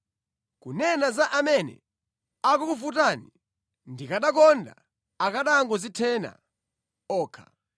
Kunena za amene akukuvutani, ndikanakonda akanangodzithena okha!